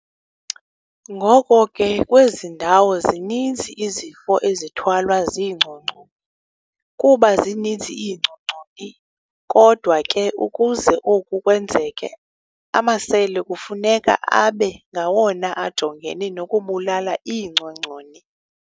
Ngoko ke, kwezi ndawo, zininzi izifo ezithwalwa ziingcongconi, kuba zininzi iingcongconi. kodwa ke, ukuze oku kwenzeke, amasele kufuneka abe ngawona ajongene nokubulala iingcongconi.